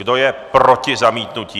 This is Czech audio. Kdo je proti zamítnutí?